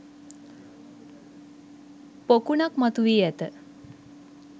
පොකුණක් මතු වී ඇත.